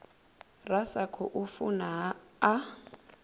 ra sa khou funa a